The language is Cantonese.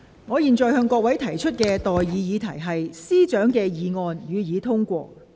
我現在向各位提出的待議議題是：律政司司長動議的議案，予以通過。